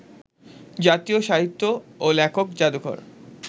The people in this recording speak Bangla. জাতীয় সাহিত্য ও লেখক জাদুঘর